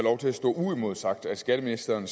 skatteministeren